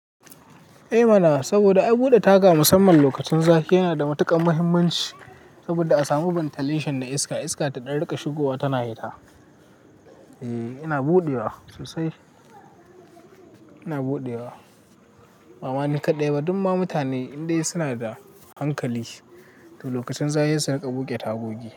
Eh mana, saboda ai buɗe taga musamman lokacin zafi yana da matukar muhimmanci. Saboda a samu ventillation da iska, iska ta ɗan riƙa shigowa tana yi ta. E, ina buɗewa sosai, ina buɗewa. Bama ni kaɗai ba, duk ma mutane indai suna da hankali to lokacin zafi suna buƙe tagogi.